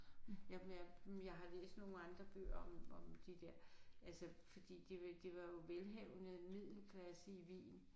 Jamen jeg jeg har læst nogle andre bøger om om de der altså fordi de var det var jo velhavende middelklase i Wien